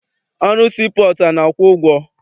Ọrụ sii pọọtụ a na-akwụ ụgwọ?